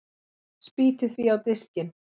Spýti því á diskinn.